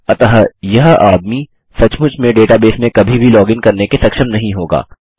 अतः यह आदमी सचमुच में डेटाबेस में कभी भी लॉगिन करने के सक्षम नहीं होगा